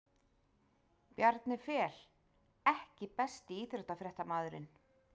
Bjarni Fel EKKI besti íþróttafréttamaðurinn?